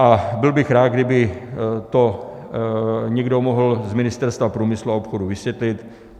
A byl bych rád, kdyby to někdo mohl z Ministerstva průmyslu a obchodu vysvětlit.